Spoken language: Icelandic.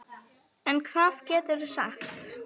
En hvað geturðu sagt?